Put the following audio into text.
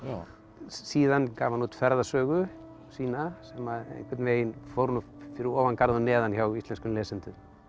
síðan gaf hann út ferðasögu sína sem að einhvern veginn fór nú fyrir ofan garð og neðan hjá íslenskum lesendum